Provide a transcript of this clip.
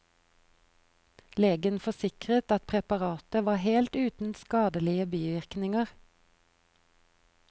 Legen forsikret at preparatet var helt uten skadelige bivirkninger.